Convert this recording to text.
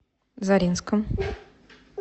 заринском